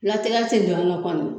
Latigɛ ti don a nan kɔni